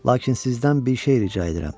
Lakin sizdən bir şey rica edirəm.